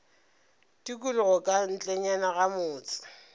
tikologo ka ntlenyana ga motse